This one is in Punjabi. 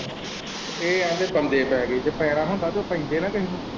ਇਹ ਆਖਦੇ ਬੰਦੇ ਪੈ ਗਏ ਜੇ ਪੈਣਾ ਹੁੰਦਾ ਤੇ ਪੈਂਦੇ ਨਾ ਕਿਸੇ ਨੂੰ।